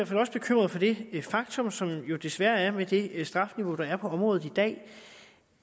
fald også bekymret for det faktum som der jo desværre er med det straffeniveau der er på området i dag